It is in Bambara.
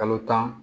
Kalo tan